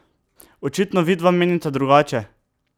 Očitno vidva menita drugače?